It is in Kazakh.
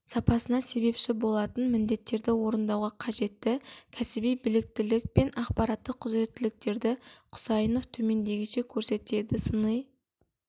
сапасына себепші болатын міндеттерді орындауға қажетті кәсіби біліктілік пен ақпараттық құзыреттіліктерді құсайынов төмендегіше көрсетеді сыни